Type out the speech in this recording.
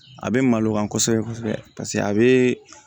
A bɛ malo kan kosɛbɛ kosɛbɛ paseke a bɛ